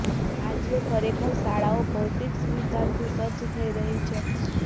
આજે ખરેખર શાળાઓ જયારે ભૌતિક સુવિધાઓથી સજ્જ થઇ રહી છે